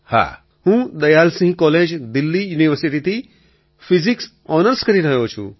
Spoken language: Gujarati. અખિલ હું દયાલસિંહ કૉલેજ દિલ્લી યુનિવર્સિટીથી ફિઝિક્સ ઑનર્સ કરી રહ્યો છું